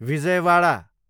Vijayawada